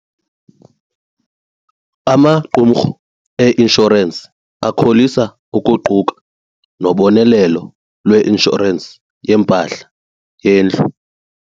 Amaqumrhu einshorensi akholisa ukuquka nobonelelo lweinshorensi yempahla yendlu.